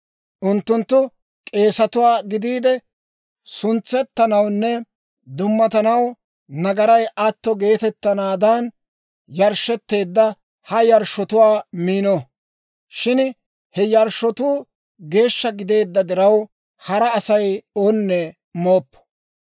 Unttunttu k'eesatuwaa gidiide suntsettanawunne dummatanaw nagaray atto geetettanaadan yarshshetteedda ha yarshshotuwaa miino. Shin he yarshshotuu geeshsha gideedda diraw, hara Asay onne mooppo.